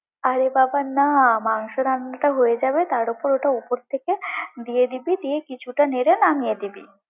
আরে বাবা না! মাংস রান্নাটা হয়ে যাবে তারপর ওটা উপর থেকে দিয়ে দিবি, দিয়ে কিছুটা নেড়ে নামিয়ে নিবি।